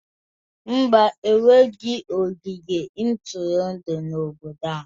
Mba, enweghị ogige ntụrụndụ n'obodo a